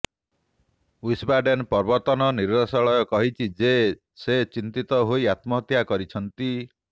Wiesbaden ପ୍ରବର୍ତ୍ତନ ନିର୍ଦ୍ଦେଶାଳୟ କହିଛି ଯେ ସେ ଚିନ୍ତିତ ହୋଇ ଆତ୍ମହତ୍ୟା କରିଛନ୍ତି